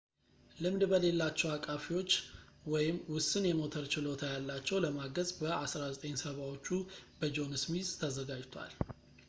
ልምድ በሌላቸው አቃፊዎች ወይም ውስን የሞተር ችሎታ ያላቸውን ለማገዝ በ 1970 ዎቹ በጆን ስሚዝ ተዘጋጅቷል